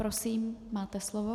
Prosím, máte slovo.